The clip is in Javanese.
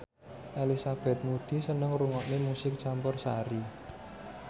Elizabeth Moody seneng ngrungokne musik campursari